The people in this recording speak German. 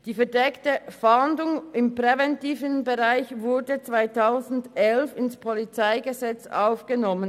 Die verdeckte Fahndung im präventiven Bereich wurde 2011 ins PolG aufgenommen.